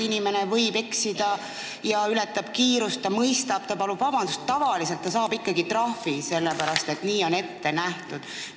Inimene võib eksida ja kiirust ületada, ta mõistab seda ja palub vabandust, aga tavaliselt ta saab ikkagi ka trahvi, sellepärast et nii on ette nähtud.